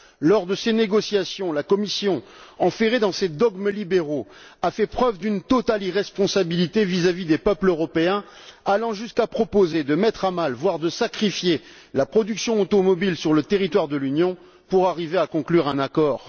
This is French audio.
Lors de ces négociations, la Commission, enferrée dans ses dogmes libéraux, a fait preuve d'une totale irresponsabilité vis à vis des peuples européens, allant jusqu'à proposer de mettre à mal, voire de sacrifier, la production automobile sur le territoire de l'Union pour arriver à conclure un accord.